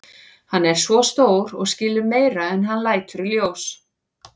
Hann er svo stór og skilur meira en hann lætur í ljós.